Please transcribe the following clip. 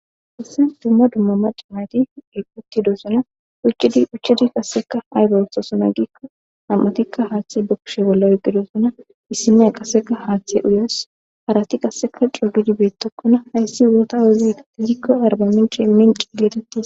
Hayisan dumma dumma maca nayti eqi uttidosona uchedi uchedi qasseka aygetosona gikko nam'atikka haaththe bokkishe bolla oqidosona issimeya qaseka haaththee uyes harati qasseka cogidibeettokkona hayssi wuota wuziaizikko arba mincee min ciiletetti.